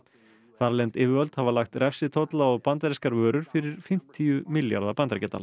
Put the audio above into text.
þarlend yfirvöld hafa lagt refsitolla á bandarískar vörur fyrir fimmtíu milljarða bandaríkjadala